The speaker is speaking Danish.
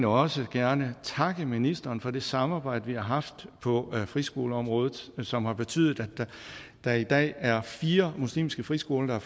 også gerne takke ministeren for det samarbejde vi har haft på friskoleområdet som har betydet at der i dag er fire muslimske friskoler